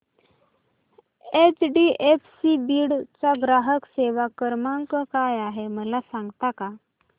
HDFC Beed चा ग्राहक सेवा क्रमांक काय आहे मला सांगता का